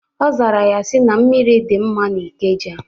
Ọ zara ya sị, na mmiri dị mma na Ikeja